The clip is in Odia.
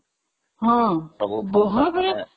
ହଁ